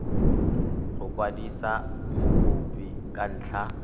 go kwadisa mokopi ka ntlha